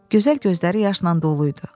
Gözəl gözləri yaşla dolu idi.